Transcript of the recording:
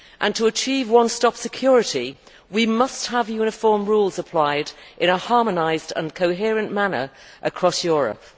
To achieve one stop security we must have uniform rules applied in a harmonised and coherent manner across Europe.